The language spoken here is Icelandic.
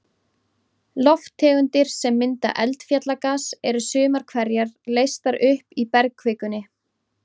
Lofttegundir sem mynda eldfjallagas, eru sumar hverjar leystar upp í bergkvikunni.